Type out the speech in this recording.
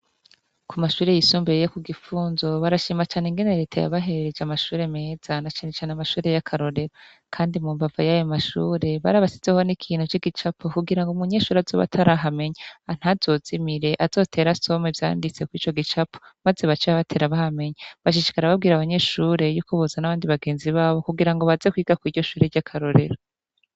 Ku mashure yisumbereye yo ku Gifunzo barashima cane ingene reta ya baherereje amashure meza na cane cane amashure y'akarorero .Kandi mu mbava y'ayo mashure bari abasizeho n'ikintu c'igicapo kugira ngo umunyeshuri azoba atarihamenya ntazozimire azotera asoma vyanditse ku ico gicapo maze baceba batera bahamenya bashishikara babwira abanyeshure y'uko boza n'abandi bagenzi babo kugira ngo baze kwiga ku iryo shure ry'akarorero.